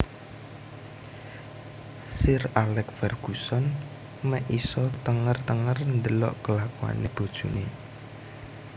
Sir Alex Ferguson mek isok tenger tenger ndelok kelakuane bojone